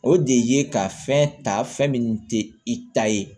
O de ye ka fɛn ta fɛn min tɛ i ta ye